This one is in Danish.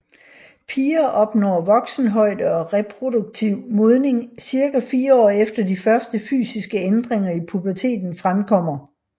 Piger opnår voksenhøjde og reproduktiv modning cirka 4 år efter de første fysiske ændringer i puberteten fremkommer